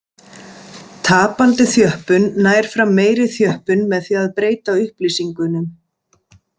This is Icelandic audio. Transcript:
Tapandi þjöppun nær fram meiri þjöppun með því að breyta upplýsingunum.